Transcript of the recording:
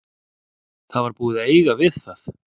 Það var búið að eiga við það.